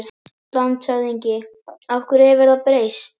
LANDSHÖFÐINGI: Og hverju hefur það breytt?